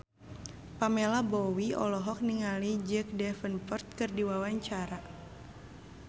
Pamela Bowie olohok ningali Jack Davenport keur diwawancara